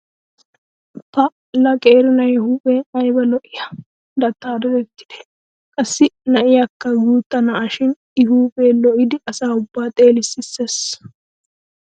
Pa"a la qeeri na'ee huuphee ayba lo'iya dattaa dadettidee? Qassi na'iyaakka guutta na'a shi I huuphee lo'idi asa ubbaa xeelissees.